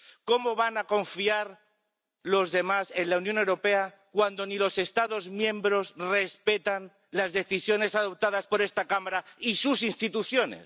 ¿Cómo van a confiar los demás en la Unión Europea cuando ni los Estados miembros respetan las decisiones adoptadas por esta Cámara y sus instituciones?